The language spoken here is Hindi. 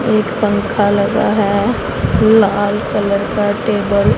एक पंखा लगा है लाल कलर का टेबल --